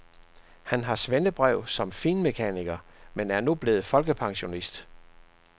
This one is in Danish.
Han har svendebrev som finmekaniker, men er nu blevet folkepensionist.